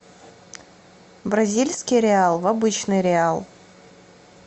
бразильский реал в обычный реал